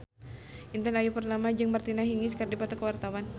Intan Ayu Purnama jeung Martina Hingis keur dipoto ku wartawan